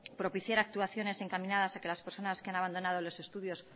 propiciar actuaciones encaminadas a que las personas que han abandonado los estudios